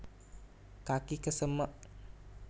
kaki kesemek